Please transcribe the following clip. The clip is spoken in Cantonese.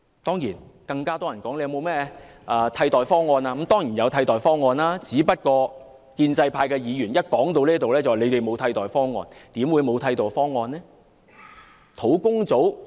當然，很多人會問我們是否有替代方案，我們當然有替代方案，只是建制派議員一談到這部分，便指我們沒有替代方案。